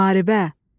Müharibə.